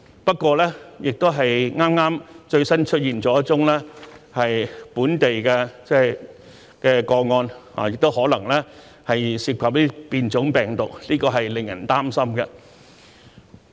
不過，剛剛又出現了一宗本地確診個案，而且可能涉及變種病毒，令人擔心。